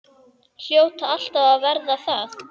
Hljóta alltaf að verða það.